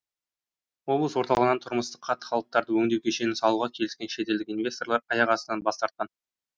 облыс орталығынан тұрмыстық қатты қалдықтарды өңдеу кешенін салуға келіскен шетелдік инвесторлар аяқ астынан бас тартқан